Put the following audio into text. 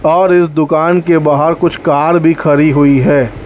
और इस दुकान के बाहर कुछ कार भी खरी हुई है।